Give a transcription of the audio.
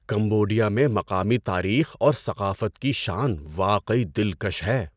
Cambodia میں مقامی تاریخ اور ثقافت کی شان واقعی دلکش ہے۔